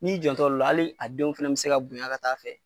Ni y'i janto olu la hali a denw fana be se ka bonya ka taa fɛ